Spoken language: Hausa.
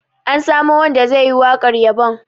An samo wanda ze yi waƙar yabon